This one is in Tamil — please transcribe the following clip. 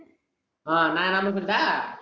ஆஹ் நான் என் number சொல்லட்டா